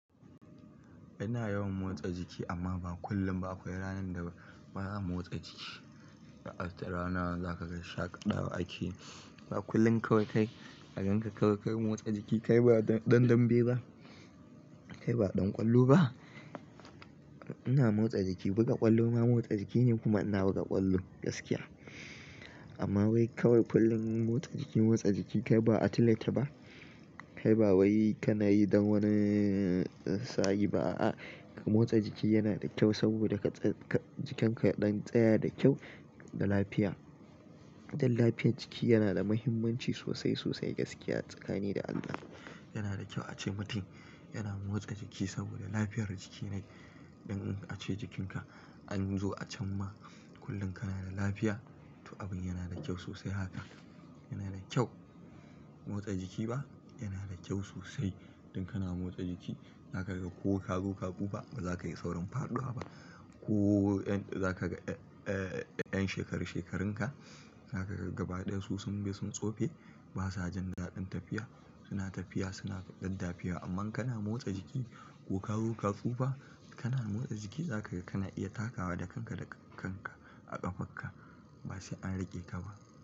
Ina yawan motsa jiki amma ba kullum ba. Akwai ranar da bazan motsa jiki, ranar zaka ga shaƙatawa ake. Ba kullum kawai kai agan ka kawai motsa jiki. Kai ba ɗan dambe ba, kai ba ɗan ƙwallo ba. Ina motsa jiki, buga ƙwallo ma motsa jiki ne kuma ina buga ƙwallo gaskiya. Amma wai kawai kullum motsa jiki, motsa jiki kai ba athlete ba? Kai ba wai ka na yi don wani tsari ba a. Motsa jiki yana da kyau saboda ka tsai-- jikinka ɗan tsaya da kyau da lafiya. Don lafiyar jiki yana da muhimmanci sosai, sosai gaskiya a tsakani da Allah. Yana da kyau a ce mutum yana motsa jiki saboda lafiyar jiki ne. Don in a ce jikinka an zo a can ma kullum kana da lafiya, to abin yana da kyau sosai haka. Yana da kyau motsa jiki ba? Yana da kyau sosai. Don kana motsa jiki zaka ga ko ka zo ka tsufa bazakayi saurin faɗuwa ba. Ko za ka ga, eh, 'yan shekaru shekarun ka zaka ga gaba ɗaya su sun bi sun tsofe basa jan daɗin tafiya. Suna tafiya suna daddafiya amma kana motsa jiki ko ka zo ka tsufa kana motsa jiki zaka ga kana iya takawa da kanka da kanka a ƙafarka ba sai an riƙe ka ba.